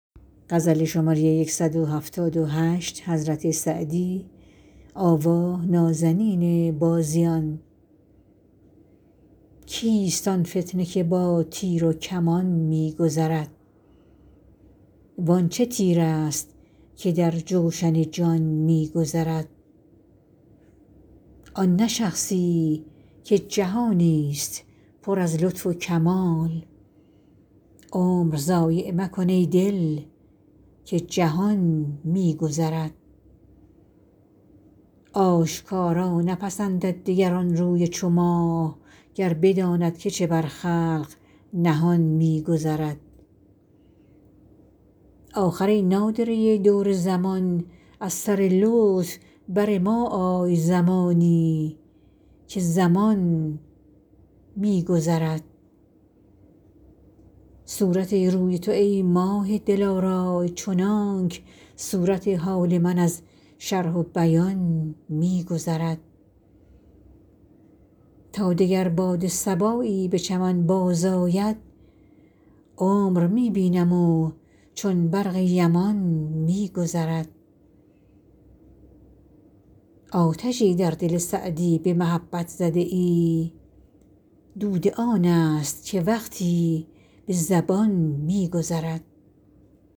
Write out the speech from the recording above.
کیست آن فتنه که با تیر و کمان می گذرد وان چه تیرست که در جوشن جان می گذرد آن نه شخصی که جهانی ست پر از لطف و کمال عمر ضایع مکن ای دل که جهان می گذرد آشکارا نپسندد دگر آن روی چو ماه گر بداند که چه بر خلق نهان می گذرد آخر ای نادره دور زمان از سر لطف بر ما آی زمانی که زمان می گذرد صورت روی تو ای ماه دلارای چنانک صورت حال من از شرح و بیان می گذرد تا دگر باد صبایی به چمن بازآید عمر می بینم و چون برق یمان می گذرد آتشی در دل سعدی به محبت زده ای دود آن ست که وقتی به زبان می گذرد